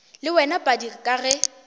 le wena padi ka ge